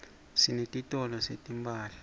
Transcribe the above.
sinetitolo setimphahla